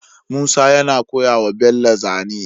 Musa yana koya wa bello zane